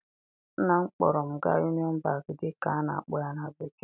Nna m kpọọrọ m gaa Union Bank dịka a na-akpọ ya na bekee